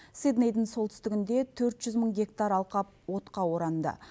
сиднейдің солтүстігінде төрт жүз мың гектар алқап отқа оранды